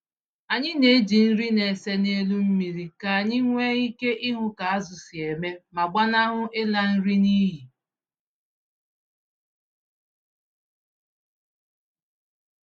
Anyị na-eji nri na-ese n'elu mmiri ka anyị nwee ike ịhụ ka azụ̀ si eme ma gbanahụ ịla nri n'iyi.